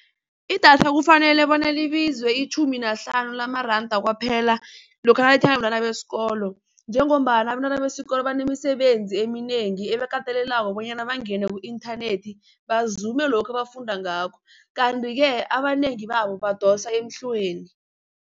Idatha kufanele bona libize itjhumi nahlanu lamaranda kwaphela lokha nalithengwa bentwana besikolo. Njengombana abentwana besikolo banemisebenzi eminengi ebakatelelako bonyana bangene ku-inthanethi bazume lokhu abafunda ngakho. Kanti-ke abanengi babo badosa emhlweni.